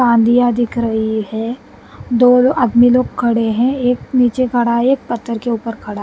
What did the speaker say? आंधियाँ दिख रही है दो आदमी लोग खड़े हैं एक नीचे खड़ा है एक पत्थर के ऊपर खड़ा--